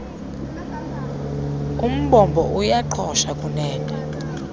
umbombo uyaqhosha kungene